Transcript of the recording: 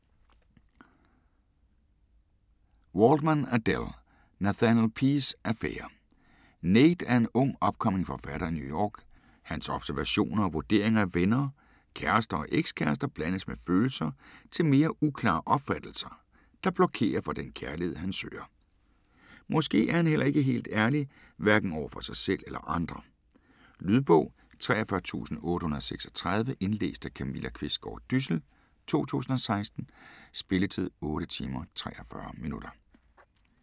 Waldman, Adelle: Nathaniel P's affærer Nate er en ung, upcoming forfatter i New York. Hans observationer og vurderinger af venner, kærester og ex-kærester blandes med følelser til mere uklare opfattelser, der blokerer for den kærlighed, han søger. Måske er han heller ikke helt ærlig, hverken over for sig selv eller andre. Lydbog 43836 Indlæst af Camilla Qvistgaard Dyssel, 2016. Spilletid: 8 timer, 43 minutter.